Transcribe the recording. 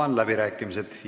Avan läbirääkimised.